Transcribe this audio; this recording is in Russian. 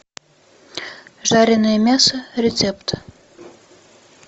жареное мясо рецепт